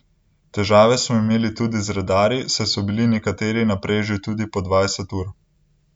Težave smo imeli tudi z redarji, saj so bili nekateri na preži tudi po dvajset ur.